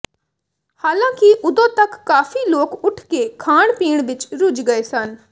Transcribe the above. ਹਾਲਾਂ ਕਿ ਉਦੋਂ ਤੱਕ ਕਾਫ਼ੀ ਲੋਕ ਉੱਠ ਕੇ ਖਾਣਪੀਣ ਵਿਚ ਰੁੱਝ ਗਏ ਸਨ